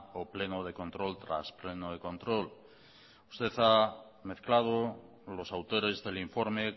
o pleno de control tras pleno de control usted ha mezclado los autores del informe